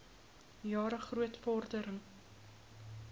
jare groot vordering